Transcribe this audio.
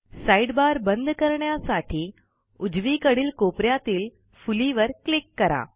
sidebar बंद करण्यासाठी उजवीकडील कोप यातील फुलीवर क्लिक करा